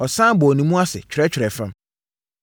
Ɔsane bɔɔ ne mu ase twerɛtwerɛɛ fam.